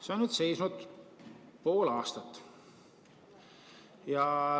See on nüüd seisnud pool aastat.